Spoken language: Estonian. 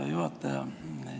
Hea juhataja!